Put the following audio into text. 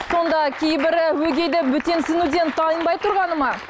сонда кейбірі өгейді бөтенсінуден тайынбай тұрғаны ма